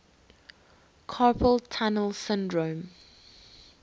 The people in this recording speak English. carpal tunnel syndrome